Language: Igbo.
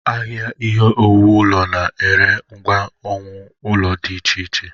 Ahịa ihe owuwu ụlọ na-ere ngwa owuwu ụlọ dị iche iche.